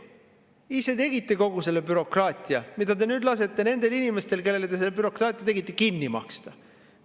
Ise tegite kogu selle bürokraatia, mida te nüüd lasete nendel inimestel, kellele te selle bürokraatia tegite, kinni maksta.